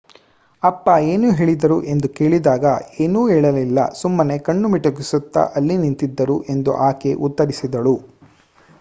ಅಪ್ಪ ಏನು ಹೇಳಿದರು ಎಂದು ಕೇಳಿದಾಗ ಏನೂ ಹೇಳಲಿಲ್ಲ ಸುಮ್ಮನೆ ಕಣ್ಣು ಮಿಟುಕಿಸುತ್ತಾ ಅಲ್ಲಿ ನಿಂತಿದ್ದರು ಎಂದು ಆಕೆ ಉತ್ತರಿಸಿದಳು